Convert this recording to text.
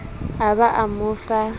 a ba a mo fa